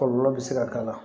Kɔlɔlɔ bɛ se ka k'a la